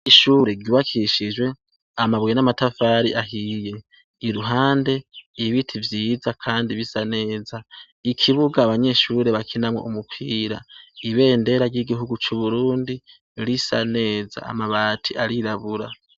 Ishure ryubakishijwe amabuye n'amatafari ahiye iruhande ibiti vyiza kandi bisa neza ikibuga abanyeshure bakinamwo umupira ibendera ry'igihugu c'Uburundi risa neza amabati arirabura.